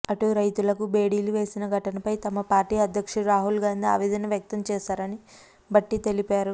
అటు రైతులకు బేడీలు వేసిన ఘటనపై తమ పార్టీ అధ్యక్షుడు రాహుల్ గాంధీ ఆవేదన వ్యక్తం చేశారని భట్టి తెలిపారు